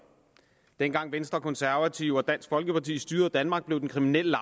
dengang venstre konservative og dansk folkeparti styrede danmark blev den kriminelle